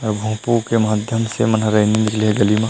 अऊ भोपू के माध्यम से मनोरंजन के लिए गली म--